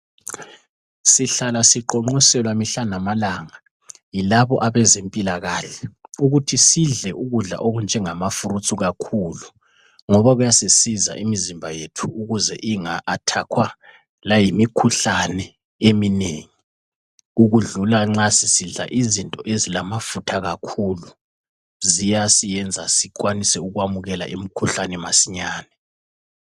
Sihlala siqonqoselwa mihla namalanga yilabo abezempilakahle ukuthi sidle ukudla okunjengama"fruits" kakhulu ngoba kuyasisiza imizimba yethu ukuze inga athakhwa layimikhuhlane eminengi ukudlula nxa sisidla izinto ezilamafutha kakhulu, ziyasiyenza sikwanise ukwamukela imikhuhlane masinyane.